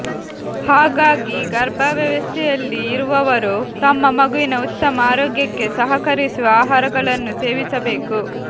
ಹಾಗಾಗಿ ಗರ್ಭಾವಸ್ಥೆಯಲ್ಲಿ ಇರುವವರು ತಮ್ಮ ಮಗುವಿನ ಉತ್ತಮ ಆರೋಗ್ಯಕ್ಕೆ ಸಹಕರಿಸುವ ಆಹಾರಗಳನ್ನು ಸೇವಿಸಬೇಕು